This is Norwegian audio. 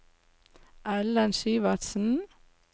Ellen Syvertsen